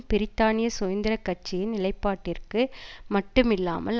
பிரித்தானிய சுதந்திர கட்சியின் நிலைப்பாட்டிற்கு மட்டுமில்லாமல்